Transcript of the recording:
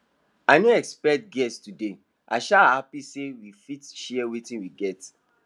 i no expect guests today i sha happy say we fit share wetin we get